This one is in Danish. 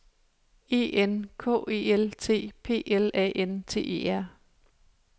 E N K E L T P L A N T E R